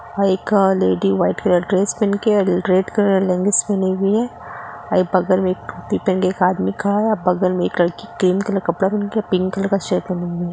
High quality white colour press पहनकर red colour language पहनी हुई है और ये बगल में टोपी पहन कर एक आदमी खड़ा है लड़की ग्रीन कलर कर पिंक कलर का शर्ट पहने है।